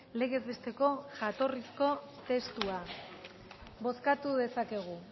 legez besteko jatorrizko testua bozkatu dezakegu